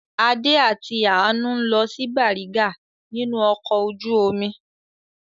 Adé àti Àánú ń lọ sí Bàrígà nínú ọkọ̀ ojú-omi.